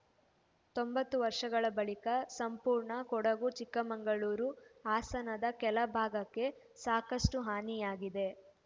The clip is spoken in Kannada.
ತೊಂಬತ್ತು ವರ್ಷಗಳ ಬಳಿಕ ಸಂಪೂರ್ಣ ಕೊಡಗು ಚಿಕ್ಕಮಗಳೂರು ಹಾಸನದ ಕೆಲ ಭಾಗಕ್ಕೆ ಸಾಕಷ್ಟುಹಾನಿಯಾಗಿದೆ